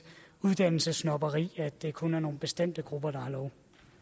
uddannelsessnobberi at det kun er nogle bestemte grupper der har lov